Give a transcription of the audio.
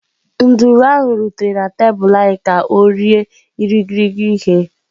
Nduru ahụ rutere na tebụl anyị ka ọ rie irighiri ihe.